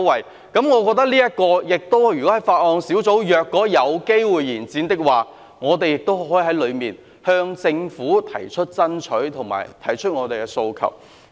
我認為，如果這5項附屬法例的修訂期限有機會延展，我們亦可以在法案委員會向政府提出爭取及訴求。